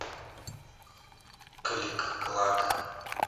клик клак